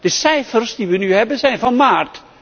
De cijfers die wij nu hebben zijn van maart